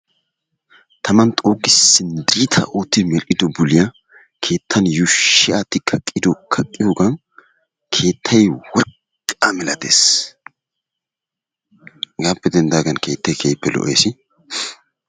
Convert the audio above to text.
Taman xuugissi diitaa oottidi medhdhido buliya keettan yuushshi aatti kaqqiyogan keettayi worqqa milates. Hegaappe denddaagan keettayi keehippe lo"es.